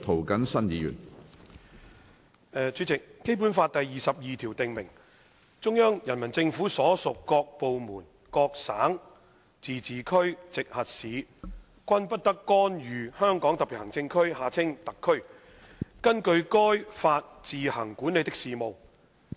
主席，《基本法》第二十二條訂明，中央人民政府所屬各部門、各省、自治區、直轄市均不得干預香港特別行政區根據該法自行管理的事務。